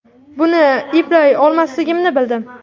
Buni eplay olmasligimni bildim.